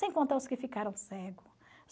Sem contar os que ficaram cego.